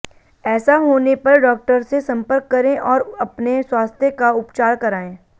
ऐसा होने पर डॉक्टर से संपर्क करें और अपने स्वास्थ्य का उपचार कराएं